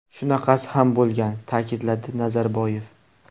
Shunaqasi ham bo‘lgan”, ta’kidladi Nazarboyev.